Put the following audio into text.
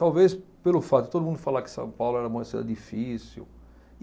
Talvez pelo fato de todo mundo falar que São Paulo era uma cidade difícil.